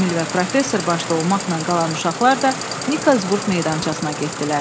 Emil və professor başda olmaqla qalan uşaqlar da Nikolsburq meydançasına getdilər.